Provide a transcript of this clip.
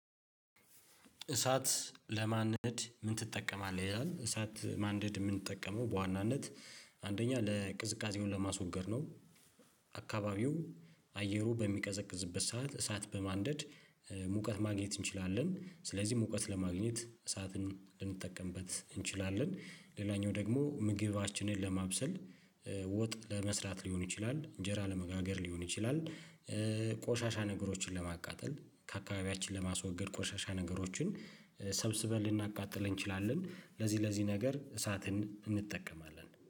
እሳት ለማንደድ ምን ትጠቀማለህ ይላል? እሳት ማንድ የምንጠቀመው በዋናነት አንደኛ ለቅዝቃዜው ለማስወገድ ነው አካባቢው አየሩ በሚቀዘቅዝበት ሰዓት እሳት በማንደድ ሙቀት ማግኘት እንችላለን ስለዚህ ሙቀት ለማግኘት እሳትን ልንጠቀምበት እንችላለን። ሌላኛው ደግሞ ምግባችንን ለማብሰል ወጥ ለመስራት ሊሆን ይችላል እንጀራ ለመጋገር ሊሆን ይችላል። ቆሻሻ ነገሮችን ለማቃጠል ከአካባቢያችን ለማስወገድ ቆሻሻ ነገሮችን ሰብስበን ልናቃጥለን እንችላለን ለዚህ ለዚህ ነገር እሳትን እንጠቀማለን